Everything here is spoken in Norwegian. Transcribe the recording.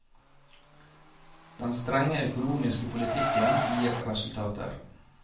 Den strenge økonomiske politikken gir resultater.